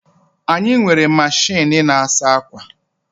Anyị nwere machịnị na-asa akwa